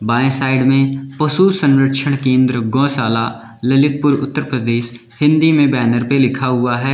बाएं साइड में पशु संरक्षण केंद्र गौशाला ललितपुर उत्तर प्रदेश हिंदी में बैनर पे लिखा हुआ है।